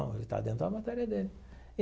Ele está dentro da matéria dele.